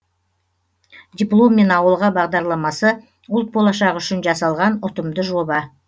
дипломмен ауылға бағдарламасы ұлт болашағы үшін жасалған ұтымды жоба